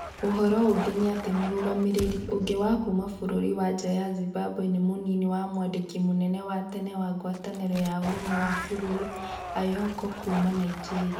Ũhoro ũngi ni atĩ mũrũgamĩrĩri ũngĩ wa kuma bũrũri wa nja ya Zimbabwe nĩ mũnini wa mwandĩkĩri mũnene wa tene wa ngwatanĩro ya Ũrũmwe wa Mabũrũri, Anyaoku kuuma Nigeria.